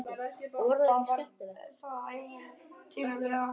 Hvað það var ævintýralegt og hlýtt.